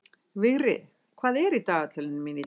Vigri, hvað er í dagatalinu mínu í dag?